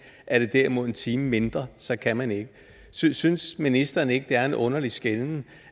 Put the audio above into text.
er det derimod en time mindre så kan man ikke synes synes ministeren ikke at det er en underlig skelnen